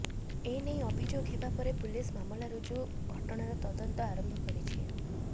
ଏନେଇ ଅଭିଯୋଗ ହେବା ପରେ ପୁଲିସ ମାମଲା ରୁଜୁ ଘଟଣାର ତଦନ୍ତ ଆରମ୍ଭ କରିଛି